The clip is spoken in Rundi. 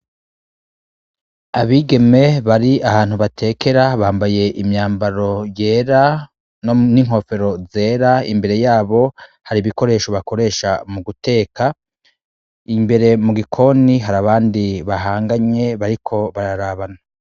Abigeme bari ahantu batekera bambaye imyambaro yera n'inkofero zera, imbere yabo hari ibikoresho bakoresha mu guteka. Imbere mu gikoni hari abandi bahanganye bariko bararabana.